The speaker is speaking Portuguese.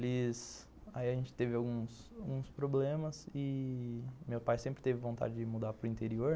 Aí a gente teve alguns alguns problemas e meu pai sempre teve vontade de mudar para o interior.